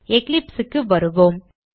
eclipse க்கு வருவோம்